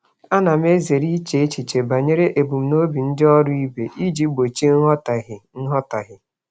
Ana m ezere iche echiche banyere ebumnuche ndị ọrụ ibe m iji gbochie nghọtahie.